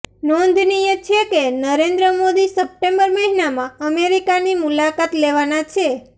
નોંધનીય છે કે નરેન્દ્ર મોદી સપ્ટેમ્બર મહિનામાં અમેરિકાની મુલાકાત લેવાના છે